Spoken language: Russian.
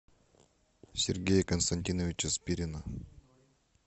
сергея константиновича спирина